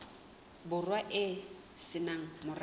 borwa e se nang morabe